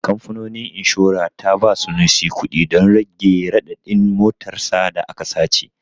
Kamfanin inshora ta ba Sunusi kuɗi don rage raɗaɗin motar sa da aka sace.